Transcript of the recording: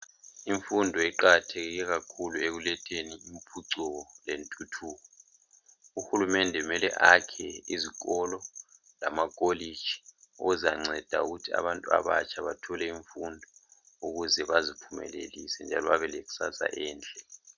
Imfundo iqakatheke kakhulu ekuletheni impucuko lentuthuko. Uhulumende kumele akhe izikolo lamakolitshi okuzanceda ukuthi abantu abatsha bathole imfundo ukuze baziphumelelise njalo babe lekusasa enhle.